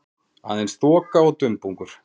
Aðeins þoka og dumbungur.